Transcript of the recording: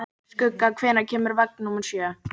Skugga, hvenær kemur vagn númer sjö?